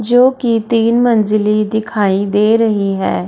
जो कि तीन मंजिली दिखाई दे रही है।